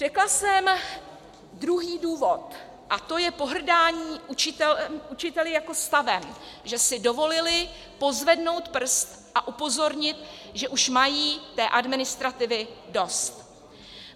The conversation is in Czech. Řekla jsem druhý důvod, a to je pohrdání učiteli jako stavem, že si dovolili pozvednout prst a upozornit, že už mají té administrativy dost.